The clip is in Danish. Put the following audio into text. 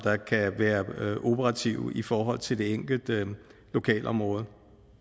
kan være operative i forhold til det enkelte lokalområde